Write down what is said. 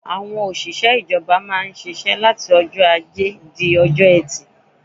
Òṣìṣẹ́ ìjọba má ń ṣiṣẹ́ láti ọjọ́ ajé di ọjọ́ ẹtì.